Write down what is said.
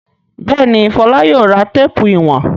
Bẹ́ẹ̀ ni, Fọlá yóò ra téépù ìwọ̀n.